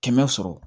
Kɛmɛ sɔrɔ